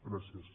gràcies